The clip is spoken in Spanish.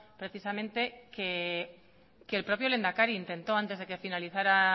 precisamente que el propio lehendakari intentó antes de que finalizara